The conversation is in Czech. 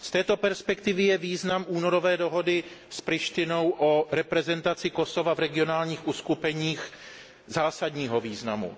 Z této perspektivy má únorová dohoda s Prištinou o reprezentaci Kosova v regionálních uskupeních zásadní význam.